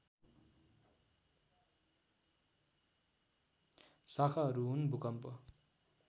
शाखाहरू हुन् भूकम्प